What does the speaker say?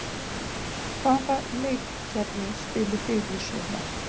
Hvaða leikkerfi spilið þið í sumar?